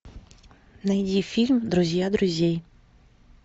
найди фильм друзья друзей